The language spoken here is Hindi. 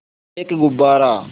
एक गुब्बारा